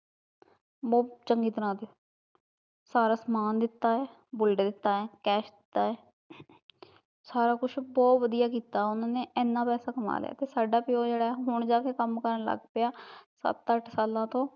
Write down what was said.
ਬਹੁਤ ਚੰਗੀ ਤਰਾਂ ਤੇ ਸਾਰਾ ਸਮਾਨ ਦਿੱਤਾ ਐ ਬੁਲਟ ਦਿੱਤਾ ਐ cash ਦਿੱਤਾ ਐ ਸਾਰਾ ਕੁਛ ਬਹੁਤ ਵਧੀਆ ਕੀਤਾ ਓਹਨਾਂ ਨੇ, ਏਨਾਂ ਪੈਸਾ ਕਮਾ ਲਿਆ ਕਿ ਸਾਡਾ ਪਿਓ ਐ ਜਿਹੜਾ ਐ ਹੁਣ ਜਾਕੇ ਕੰਮ ਕਰਣ ਲੱਗ ਪਿਆ, ਸੱਤ ਅੱਠ ਸਾਲਾਂ ਤੋਂ